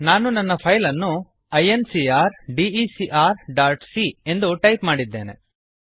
ನಾನು ನನ್ನ ಫೈಲ್ ಅನ್ನು I N C R D E C R dot C ಎಂದು ಟೈಪ್ ಮಾಡಿದ್ದೇನೆ